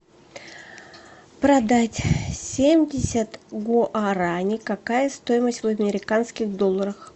продать семьдесят гуарани какая стоимость в американских долларах